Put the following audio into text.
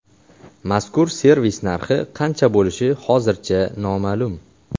Mazkur servis narxi qancha bo‘lishi hozircha noma’lum.